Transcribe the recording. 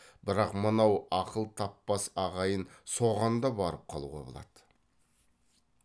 бірақ мынау ақыл таппас ағайын соған да барып қалуға болады